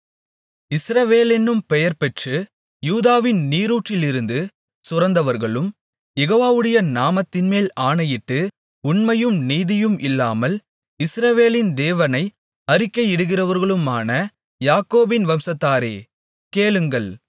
இஸ்ரவேலென்னும் பெயர்பெற்று யூதாவின் நீரூற்றிலிருந்து சுரந்தவர்களும் யெகோவாவுடைய நாமத்தின்மேல் ஆணையிட்டு உண்மையும் நீதியும் இல்லாமல் இஸ்ரவேலின் தேவனை அறிக்கையிடுகிறவர்களுமான யாக்கோபின் வம்சத்தாரே கேளுங்கள்